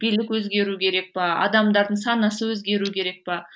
билік өзгеру керек пе адамдардың санасы өзгеру керек пе